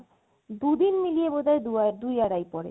দুদিন মিলিয়ে বোধয় দুই আড়াই পরে